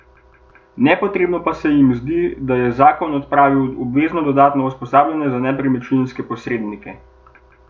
Nepotrebno pa se jim zdi, da je zakon odpravil obvezno dodatno usposabljanje za nepremičninske posrednike.